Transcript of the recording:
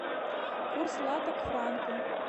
курс лата к франку